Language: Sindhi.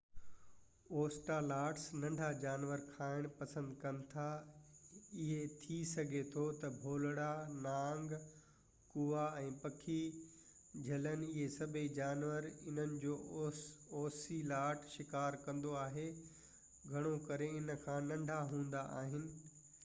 اوسيلاٽس ننڍا جانور کائڻ پسند ڪن ٿا اهي ٿي سگهي ٿو تہ ڀولڙا نانگ ڪوئا ۽ پکي جهلن اهي سڀئي جانور جن جو اوسيلاٽ شڪار ڪندو آهي گهڻو ڪري هن کان ننڍا هوندا آهن